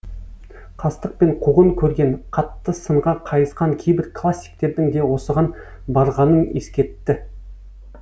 қастық пен қуғын көрген қатты сынға қайысқан кейбір классиктердің де осыған барғанын ескертті